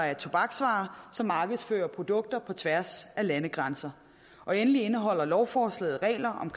af tobaksvarer som markedsfører produkter på tværs af landegrænser endelig indeholder lovforslaget regler om